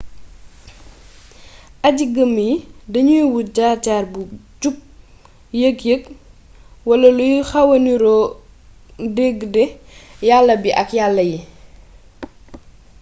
aji-gëm yi dañuy wut jaar-jaar bu jub yëg-yëg wala luy waxa nirook dëgg de yala bi ak yala yi